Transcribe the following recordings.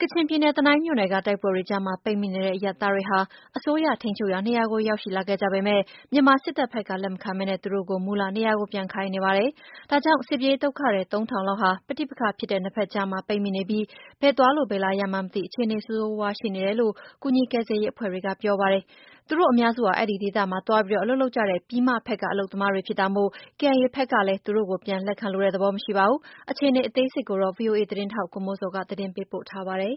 ကချင်ပြည်နယ် တနိုင်းမြို့နယ်က တိုက်ပွဲတွေကြားမှာ ပိတ်မိနေတဲ့အရပ်သားတွေဟာ အစိုးရ ထိန်းချုပ်ရာနေရာကို ရောက်ရှိလာခဲ့ကြပေမယ့်၊ မြန်မာစစ်တပ်ဖက်က လက်မခံပဲ သူတို့ကို မူလနေရာကို ပြန်ခိုင်းနေပါတယ်။ ဒါကြောင့် စစ်ပြေးဒုက္ခသည် သုံးထောင်လောက်ဟာ ပဋိပက္ခဖြစ်တဲ့နှစ်ဖက်ကြားမှာ ပိတ်မိနေပြီး၊ ဘယ်သွား ဘယ်လာရမှန်းမသိ အခြေအနေဆိုးဆိုးဝါးဝါးရှိနေတယ်လို့ ကူညီကယ်ဆယ်ရေးအဖွဲ့တွေက ပြောပါတယ်။ သူတို့အများစုဟာ အဲဒီဒေသမှာ သွားပြီး အလုပ်လုပ်ကြတဲ့ ပြည်မဖက်က အလုပ်သမားတွေဖြစ်တာမို့၊ KIA ဖက်ကလည်း သူတို့ကို ပြန်လက်ခံလိုတဲ့သဘောမရှိပါဘူး။ အခြေအနေအသေးစိတ်ကိုတော့ ဗွီအိုအေ သတင်းထောက် ကိုမိုးဇော် သတင်းပေးပို့ထားပါတယ်။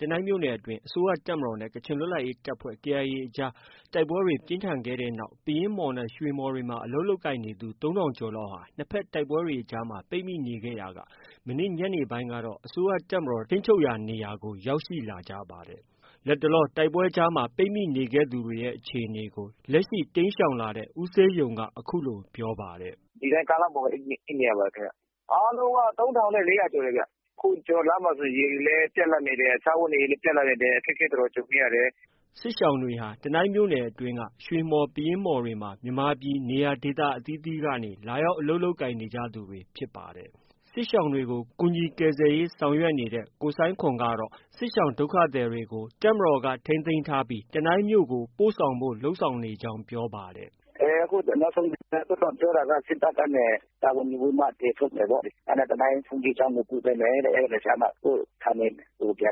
တနိုင်းမြို့နယ်အတွင်း အစိုးရတပ်မတော်နဲ့ ကချင်လွတ်လပ်ရေးတပ်ဖွဲ့ KIA အကြားတိုက်ပွဲတွေပြင်းထန်ခဲ့တဲ့နောက် ပယင်းမှော်နဲ့ ရွှေမှော်တွေမှာ အလုပ်လုပ်ကိုင်နေသူ ၃၀၀၀ကျော်ဟာ နှစ်ဖက် တိုက်ပွဲအကြားမှာ ပိတ်မိနေရာက မနေ့ညနေပိုင်းမှာတော့ အစိုးရတပ်မတော်ထိန်းချုပ်ရာနေရာကို ရောက်ရှိလာကြပါတယ်။ လတ်တလော တိုက်ပွဲကြားမှာ ပိတ်မိနေခဲ့သူတွေရဲ့အခြေအနေကို လက်ရှိ တိမ်းရှောင်လာတဲ့ ဦးဆေးယုံက အခုလို ပြောပါတယ်။ “ ဒီတိုင်းကားလမ်းပေါ်ပဲ အိပ်နေရပါတယ်ခင်ဗျ။ အားလုံးက ၃၄၀၀ကျော်တယ်ဗျ။ အခုလမ်းမှာဆို ရေလည်း ပြတ်လပ်နေတယ်။ စားဝတ်နေရေးလည်းပြတ်လပ်နေတယ်။ အခက်အခဲတော်တော်ကြုံနေရတယ်။” စစ်ရှောင်တွေဟာ တနိုင်းမြို့နယ်အတွင်းက ရွှေမှော်၊ပယင်းမှော်တွေမှာ မြန်မာပြည်နေရာဒေသအသီးသီးက လာရောက်အလုပ်လုပ်ကိုင်ကြသူတွေဖြစ်ပါတယ်။ စစ်ရှောင်တွေကို ကူညီကယ်ဆယ်ရေးဆောင်ရွက်နေတဲ့ ကိုဆိုင်းခွန်ကတော့ စစ်ရှောင်ဒုက္ခသည်တွေကို တပ်မတော်က ထိန်းသိမ်းထားပြီး တနိုင်းမြိုကို ပို့ဆောင်ဖို့ လုပ်နေကြောင်း ပြောပါတယ်။ “ အခုနောက်ဆုံးပြောတာက စစ်တပ်ကနေ တာဝန်ယူပြီးမှ ကယ်ထုတ်မယ်ပေါ့။ တနိုင်းဘုန်းကြီးကျောင်းကို ပို့ပေးမယ်တဲ့ အဲဒီကမှ ကိုယ့်ဌာနေကို စ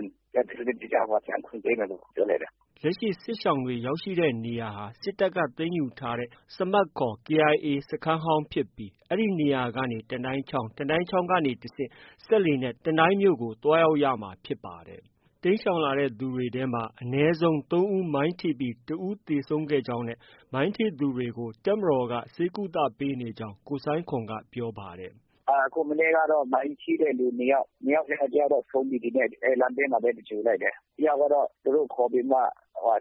နစ်တကျ ပြန်ခွင့်ပေးမယ်လို့ပြောလိုက်တာ။ ” လက်ရှိ စစ်ရှောင်တွေ ရောက်ရှိနေတဲ့နေရာဟာ စစ်တပ်က သိမ်းယူထားတဲ့ စမတ်ခေါ် KIA စခန်းဖြစ်ပြီး အဲဒီနေရာကနေ တနိုင်းချောင်း၊ တနိုင်းချောင်းကမှ တဆင့် စက်လှေနဲ့ တနိုင်းမြို့ကို သွားရမှာဖြစ်ပါတယ်။ တိမ်းရှောင်လာသူတွေထဲမှာ အနည်းဆုံး ၃ဦးမိုင်းထိပြီး တဦးသေဆုံးခဲ့ကြောင်းနဲ့ မိုင်းထိသူတွေကို တပ်မတော်က ဆေးကုပေးနေကြောင်းလည်း ကိုဆိုင်းခွန်က ပြောပါတယ်။ “မနေ့ကတော့ မိုင်းထိတဲ့လူ ၂ယောက်။ ၂ယောက်ထဲက တယောက်ကတော့ ဆုံးပြီ၊ ဒီနေ့ လမ်းဘေးမှာပဲ သင်္ဂြ ိုလ် လိုက်တယ်။ တယောက်တော့ သူတို့ ခေါ်ပြီးမှ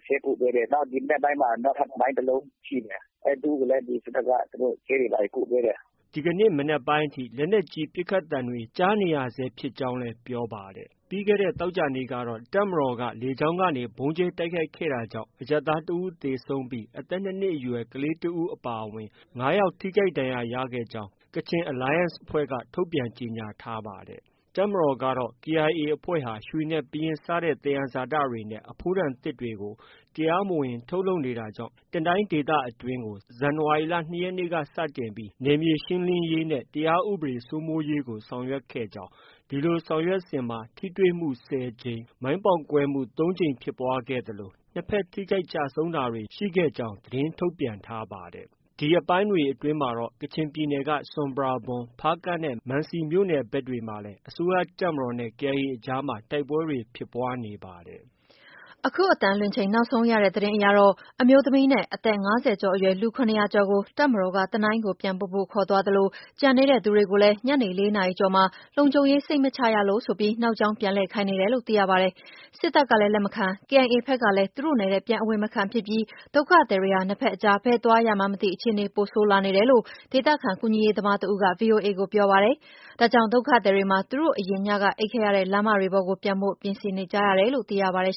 ဆေးကုပေးနေတယ်။ နောက် ဒီမနက်ပိုင်းမှာ နောက်ထပ် မိုင်းတလုံးထိတယ်။ သူ့ကိုလည်း စစ်တပ်က ဆေးတွေ ဘာတွေ ကုပေးတယ်။ ” ဒီကနေ့ မနက်ပိုင်းအထိ လက်နက်ကြီးပစ်ခတ်သံတွေကြားနေရဆဲဖြစ်ကြောင်းလည်း ပြောပါတယ်။ ပြီးခဲ့တဲ့သောကြာနေ့ကတော့ တပ်မတော်က လေကြောင်းကနေ ဗုံးကြဲတိုက်ခိုက်တာကြောင့် အရပ်သားတယောက်သေဆုံးပြီး အသက် ၂နှစ်အရွယ် ကလေး တဦးအပါအဝင် ၅ယောက် ထိခိုက်ဒဏ်ရာ ရခဲ့ကြောင်း Kachin Alliance အဖွဲ့က ထုတ်ပြန်ကြေညာထားပါတယ်။ တပ်မတော်ကတော့ KIA အဖွဲ့က ရွှေနဲ့ပယင်း စတဲ့ သယံဇာတတွေနဲ့ အဖိုးတန်သစ်တွေကို တရားမဝင် ထုတ်လုပ်နေတာကြောင့် တနိုင်းဒေသအတွင်းကို ဇန်နဝါရီလ ၂ရက်နေ့ကစတင်ပြီးနယ်မြေရှင်းလင်းရေးနဲ့ တရားဥပဒေစိုးမိုးရေးကို ဆောင်ရွက်ခဲ့ကြောင်း၊ ဒီလိုဆောင်ရွက်စဉ်မှာ ထိတွေ့မှု ၁၀ကြိမ်၊ မိုင်းပေါက်ကွဲမှု ၃ကြိမ်ဖြစ်ပွားခဲ့သလို နှစ်ဖက် ထိခိုက်ကျဆုံးတာတွေ ရှိခဲ့ကြောင်း သတင်းထုတ်ပြန်ပါတယ်။ ဒီရက်ပိုင်းတွေအတွင်းမှာတော့ ကချင်ပြည်နယ် ဆွမ်ပရာဘွမ်၊ဖားကန့်နဲ့ မန်စီမြို့နယ်ဖက်တွေမှာလည်း အစိုးရတပ်မတော်နဲ့ KIA အကြား တိုက်ပွဲတွေ ဖြစ်ပွားနေပါတယ်။ အခု နောက်ဆုံးရတဲ့သတင်းအရတော့ အမျိုးသမီးနဲ့ အသက်၅၀ကျော်အရွယ် လူ ၇၀၀ ကျော်ကို တပ်မတော်က တနိုင်းကို ပြန်ပို့ဖို့ ခေါ်သွားသလို၊ ကျန်နေတဲ့သူတွေကိုလည်း ညနေ ၄ နာရီကျော်မှာ လုံခြုံရေးစိတ်မချလို့ဆိုပြီး နောက်ကြောင်းပြန်လှည့်ခိုင်းနေတယ်လို့ သိရပါတယ်။ စစ်တပ်ကလည်း လက်မခံ၊ KIA ဖက်ကလည်းသူတို့နယ်ထဲ ပြန်အဝင်မခံဖြစ်ပြီး ဒုက္ခသည်တွေဟာ နှစ်ဖက်အကြား ဘယ်သွားရမှန်းမသိ အခြေအနေပိုဆိုးလာနေတယ်လို့ ဒေသခံ ကူညီရေးသမားတဦးက ဗွီအိုအေကို ပြောပါတယ်။ ဒါကြောင့် ဒုက္ခသည်တွေမှာ သူတို့အရင်ညက အိပ်ခဲ့ရတဲ့လမ်းမပေါ်တွေကို ပြန်ဖို့ ပြင်ဆင်နေကြရတယ်လို့ သိရပါတယ်